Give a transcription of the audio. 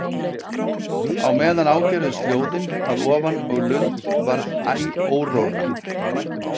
Á meðan ágerðust hljóðin að ofan og Lund varð æ órórra.